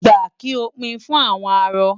Gba! Kí o pín in fún àwọn arọ.